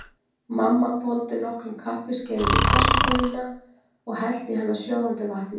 Mamma hvolfdi nokkrum kaffiskeiðum í pressukönnuna og hellti í hana sjóðandi vatni.